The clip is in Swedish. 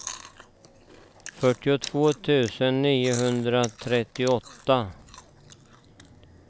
fyrtiotvå tusen niohundratrettioåtta